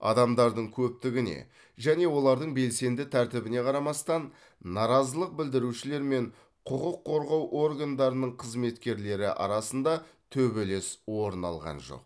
адамдардың көптігіне және олардың белсенді тәртібіне қарамастан наразылық білдірушілер мен құқық қорғау органдарының қызметкерлері арасында төбелес орын алған жоқ